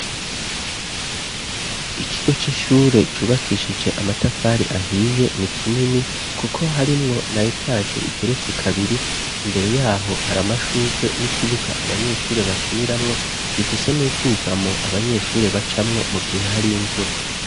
Ikigo c'ishure cubakishije amatafari ahiye, ni kinini kuko harimwo na etaje igeretse kabiri, imbere yaho hari amashugwe ,n'ikibuga abanyeshure bakiniramwo ,gifise n'ubwugamo abanyeshure bacamwo, mu gihe hari imvura.